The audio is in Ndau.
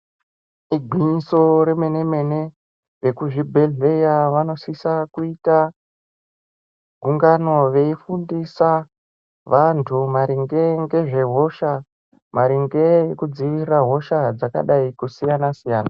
Igwinyiso remene mene ekuzvibhehleya vanosisa kuita gungano veifundisa vantu maringe ngezvehosha maringe nekudziirira hosha dzakadai kusiyana siyana.